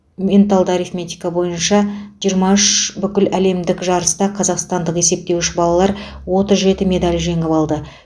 менталды арифметика бойынша жиырма үш бүкіләлемдік жарыста қазақстандық есептеуіш балалар отыз жеті медаль жеңіп алды